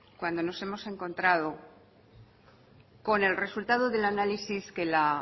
cuando nos hemos encontrado con el resultado del análisis que la